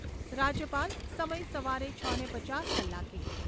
રાજ્યપાલ. સમય સવારે છને પચાસ કલાકે